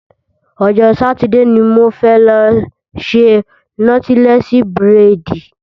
Ọjọ́ Sátidé ni mo fẹ́ lọ ṣe nọ́tílẹ́sí búrèdì